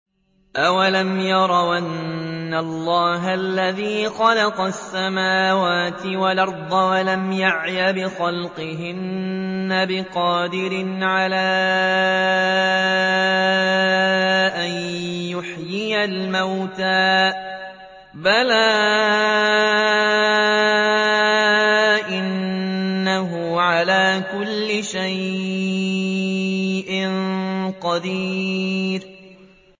أَوَلَمْ يَرَوْا أَنَّ اللَّهَ الَّذِي خَلَقَ السَّمَاوَاتِ وَالْأَرْضَ وَلَمْ يَعْيَ بِخَلْقِهِنَّ بِقَادِرٍ عَلَىٰ أَن يُحْيِيَ الْمَوْتَىٰ ۚ بَلَىٰ إِنَّهُ عَلَىٰ كُلِّ شَيْءٍ قَدِيرٌ